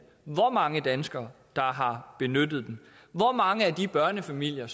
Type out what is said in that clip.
hvor mange danskere der har benyttet den hvor mange af de børnefamilier